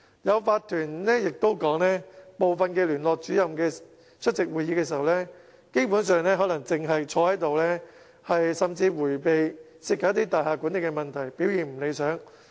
有法團更指部分聯絡主任出席會議時，基本上可能光坐着，甚至迴避涉及大廈管理的問題，表現並不理想。